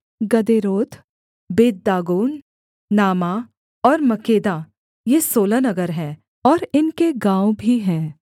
गदेरोत बेतदागोन नामाह और मक्केदा ये सोलह नगर हैं और इनके गाँव भी हैं